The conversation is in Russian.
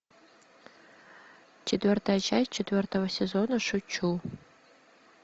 четвертая часть четвертого сезона шучу